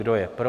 Kdo je pro?